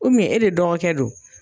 e de dɔgɔ kɛ don.